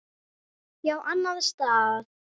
Já, annan stað.